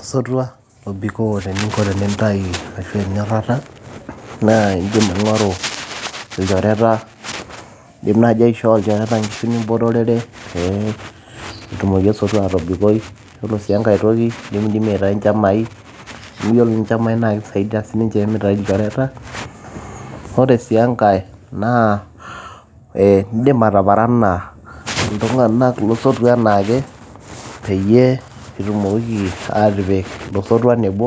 osotua obikoo teninko tenintayu ashu enyorrata naa indim aing'oru ilchoreta indim naaji aishoo ilchoreta inkishu nimpotorerepee etumoki osotua atobikoi yiolo sii enkay toki indimidimi aitai inchamai amu yiolo inchamai naa kisaidiyia sininche mitai ilchoreta ore sii enkay naa ee indim ataparana iltung'anak losotua anaake peyie itumokiki atipik ilo sotua nebo